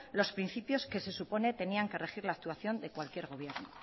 los principios que se suponen tenían que regir la actuación de cualquier gobierno